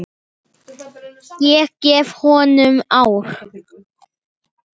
Ég gef honum ár.